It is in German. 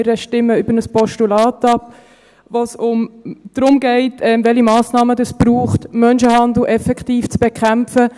Wir stimmen über ein Postulat ab, bei dem es darum geht, welche Massnahmen es braucht, um Menschenhandel effektiv zu bekämpfen.